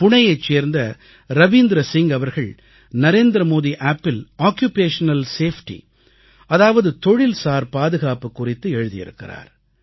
புனேயைச் சேர்ந்த ரவீந்திர சிங் அவர்கள் Narendra Modi Appஇல் occupational safety அதாவது தொழில்சார் பாதுகாப்பு குறித்து எழுதியிருக்கிறார்